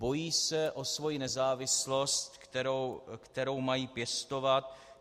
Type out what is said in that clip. Bojí se o svoji nezávislost, kterou mají pěstovat.